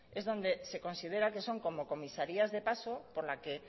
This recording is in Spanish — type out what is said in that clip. es donde se considera que son como comisarías de paso por la que